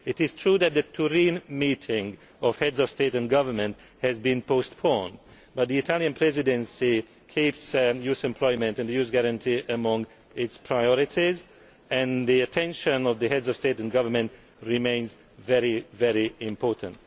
It is true that the Turin meeting of Heads of State and Government has been postponed but the Italian Presidency keeps youth employment and the Youth Guarantee among its priorities and the attention of the Heads of State and Government remains very important.